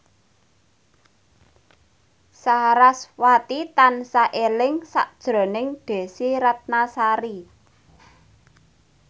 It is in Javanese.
sarasvati tansah eling sakjroning Desy Ratnasari